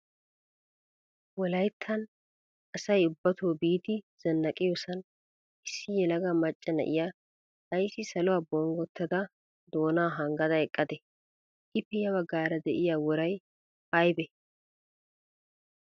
Wolayttan asay ubbato biidi zannaqiyosan issi yelaga macca na"iyaa ayssi saluwaa bonggottada doona hanggada eqqadee? Ippe ya baggaara diya worayi ayigee?